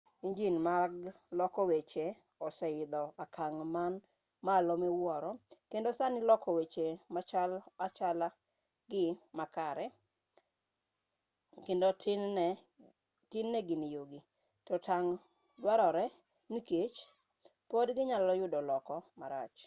injin mag loko weche oseidho okang' man malo miwuoro kendo sani loko weche machal achala gii makarekendo tin-ne gin yugi to tang' dwarore nikech pod ginyalo yudo loko marach